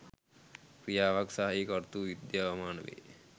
ක්‍රියාවක් සහ එහි කර්තෘ විද්‍යාමාන වේ.